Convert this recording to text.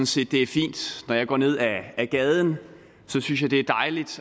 set det er fint når jeg går ned ad gaden